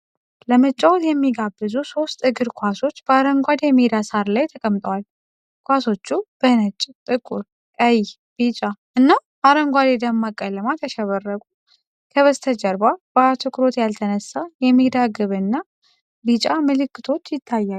ለመጫወት የሚጋብዙ ሶስት እግር ኳሶች በአረንጓዴ የሜዳ ሳር ላይ ተቀምጠዋል። ኳሶቹ በነጭ፣ ጥቁር፣ ቀይ፣ ቢጫ እና አረንጓዴ ደማቅ ቀለማት ያሸበረቁ፣ ከበስተጀርባ በአትኩሮት ያልተነሳ የሜዳ ግብ እና ቢጫ ምልክቶች ይታያሉ።